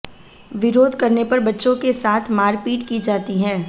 विरोध करने पर बच्चों के साथ मारपीट की जाती है